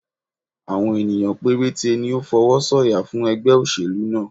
Àwọn ènìyàn péréte ni ó fọwọ́ sọ yà fún ẹgbẹ́ oselu náà